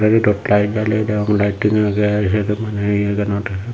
redod light jaliye degong lighting aage siyodo mane.